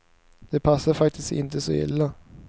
Det passade faktiskt inte så illa.